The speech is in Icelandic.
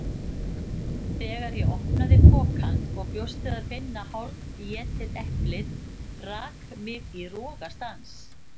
Þegar ég opnaði pokann og bjóst við að finna hálfétið eplið rak mig í rogastans.